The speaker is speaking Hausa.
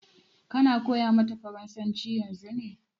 Ka na koya mata farasanci yanzu ne?